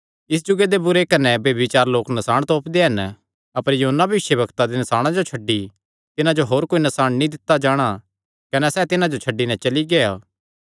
इस जुगे दे बुरे कने ब्यभिचारी लोक नसाण तोपदे हन अपर योना भविष्यवक्ता दे नसाणां जो छड्डी तिन्हां जो होर कोई नसाण नीं दित्ता जाणा कने सैह़ तिन्हां जो छड्डी नैं चली गेआ